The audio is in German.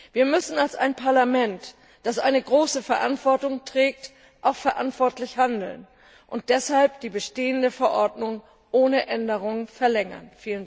Wir müssen als ein Parlament, das eine große Verantwortung trägt, auch verantwortlich handeln und deshalb die bestehende Verordnung ohne Änderungen verlängern.